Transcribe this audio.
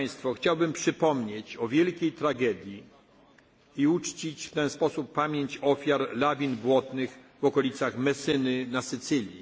sprawy smutne. Chciałbym przypomnieć o wielkiej tragedii i uczcić w ten sposób pamięć ofiar lawin błotnych w okolicach Messyny